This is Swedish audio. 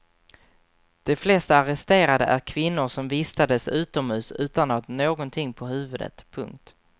De flesta arresterade är kvinnor som vistades utomhus utan att ha någonting på huvudet. punkt